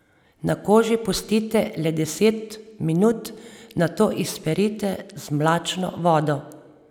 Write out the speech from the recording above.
Na koži pustite le deset minut, nato izperite z mlačno vodo.